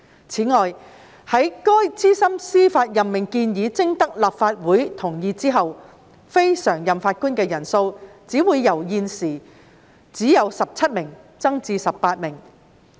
此外，在該資深司法任命建議徵得立法會同意後，非常任法官的人數只會由現時只有17名增至18名。